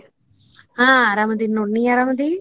ಹಾ ಅರಾಮ್ ಅದಿನ ನೋಡ ನೀ ಅರಾಮ್ ಅದಿ?